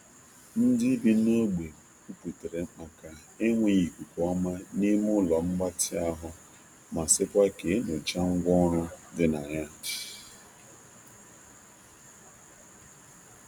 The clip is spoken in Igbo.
Ndị bi n’ogbe kwuputere maka enweghị ikuku ọma n'ime ụlọ mgbatị ahụ ma sịkwa ka e nyochaa ngwa ọrụ di na ya.